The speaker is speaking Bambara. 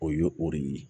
O y'o o de ye